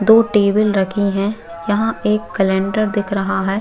दो टेबल रखी है यहाँ एक कैलेंडर दिख रहा है।